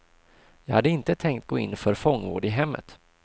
Jag hade inte tänkt gå in för fångvård i hemmet.